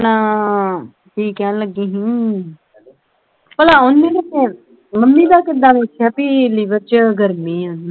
ਆਪਣਾ ਕੀ ਕਹਿਣ ਲੱਗੀ ਹੀ ਭਲਾ ਉਹਨੇ ਮੰਮੀ ਦਾ ਕਿੱਦਾਂ ਵੇਖਿਆ ਬਈ liver ਵਚ ਗਰਮੀ ਆ